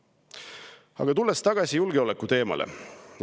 Aga tulen tagasi julgeolekuteema juurde.